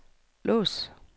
lås